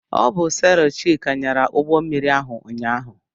Ọ bụ selọ Chika nyara ụgbọmmiri ahụ ụnyaahụ.